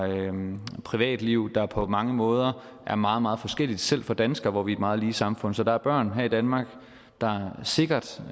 privatliv der på mange måder er meget meget forskellige selv for danskere i et meget lige samfund så der er børn her i danmark der sikkert